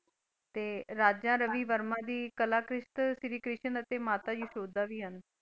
ਤੇ ਰਾਜਾ ਰਵੀ ਵਰਮਾ ਦੀ ਕਲਾਕਿਸ਼੍ਤ ਸ਼੍ਰੀ ਕ੍ਰਿਸ਼ਨ ਅਤੇ ਮਾਤਾ ਯਸ਼ੋਦਾ ਵੀ ਹਨ।